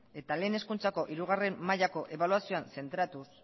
eta lehen hezkuntzako hirugarren mailako ebaluazioan zentratuz